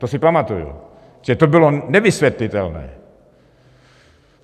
To si pamatuji, to bylo nevysvětlitelné.